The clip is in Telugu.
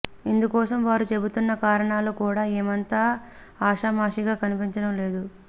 ఇందుకోసం వారు చెబుతున్న కారణాలు కూడా ఏమంత ఆషామాషీగా కనిపించడం లేదు